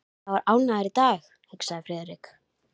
Sá er ánægður í dag, hugsaði Friðrik.